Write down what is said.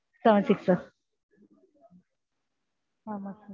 seven six sir ஆமா sir